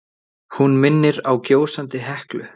Hún minnir á gjósandi Heklu.